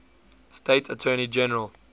state attorney general